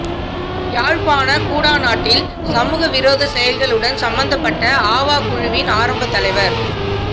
யாழ்ப்பாண குடாநாட்டில் சமூக விரோத செயல்களுடன் சம்பந்தப்பட்ட ஆவா குழுவின் ஆரம்ப தலைவர்